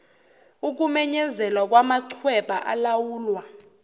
ukumenyezelwa kwamachweba alawulwa